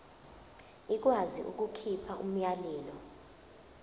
ikwazi ukukhipha umyalelo